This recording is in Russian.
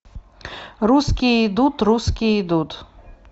русские идут русские идут